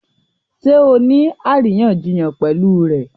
Ṣé ọ ní aríyànjiyàn pẹ̀lú rẹ̀?